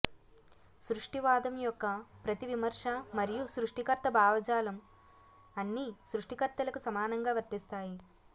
సృష్టివాదం యొక్క ప్రతి విమర్శ మరియు సృష్టికర్త భావజాలం అన్ని సృష్టికర్తలకు సమానంగా వర్తిస్తాయి